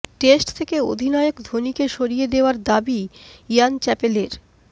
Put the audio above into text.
test থেকে অধিনায়ক ধোনিকে সরিয়ে দেওয়ার দাবি ইয়ান চ্যাপেলের